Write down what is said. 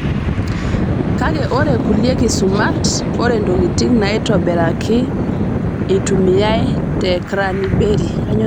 Kake ore kulie kisumat, ore ntokitin naitobiraki eitumiyai te kraniberi.